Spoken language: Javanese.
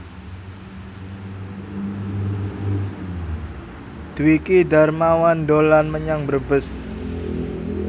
Dwiki Darmawan dolan menyang Brebes